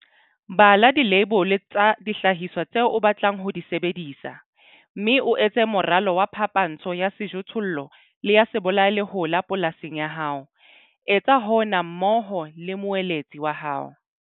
Bala dileibole tsa dihlahiswa tseo o batlang ho di sebedisa, mme o etse moralo wa phapantsho ya sejothollo le ya sebolayalehola polasing ya hao. Etsa hona mmoho le moeletsi wa hao.